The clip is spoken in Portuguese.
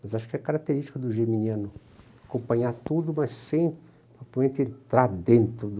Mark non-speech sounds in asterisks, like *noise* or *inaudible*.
Mas acho que a característica do germiniano é acompanhar tudo, mas *unintelligible* sem entrar dentro do...